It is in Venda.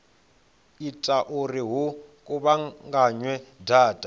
ita uri hu kuvhunganywe data